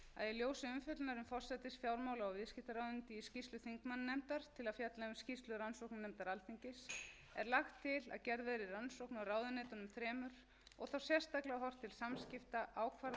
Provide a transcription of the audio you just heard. í ljósi umfjöllunar um forsætis fjármála og viðskiptaráðuneyti í skýrslu þingmannanefndar til að fjalla um skýrslu rannsóknarnefndar alþingis er lagt til að gerð verði rannsókn á ráðuneytunum þremur og þá sérstaklega horft til samskipta ákvarðana og atburða